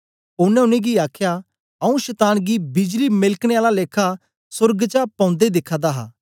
ओनें उनेंगी आखया आऊँ शतान गी बिजली मेलकने आला लेखा सोर्ग चा पौंदे दिखा दा हा